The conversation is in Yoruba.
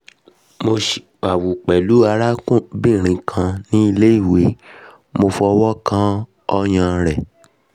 mo ṣiwawu pẹlu arabinrin kan ni ile iwe mo fọwọ́kan ọyan rẹ̀